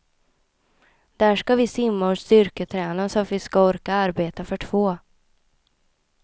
Där ska vi simma och styrketräna så att vi ska orka arbeta för två.